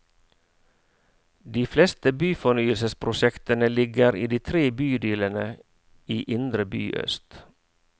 De fleste byfornyelsesprosjektene ligger i de tre bydelene i indre by øst.